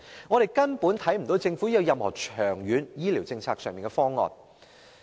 政府根本沒有任何長遠醫療政策方案。